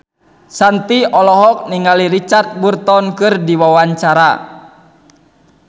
Shanti olohok ningali Richard Burton keur diwawancara